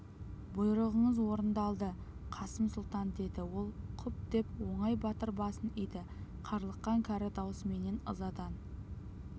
бұйрығыңыз орындалды қасым сұлтан деді ол құп деп оңай батыр басын иді қарлыққан кәрі даусыменен ызадан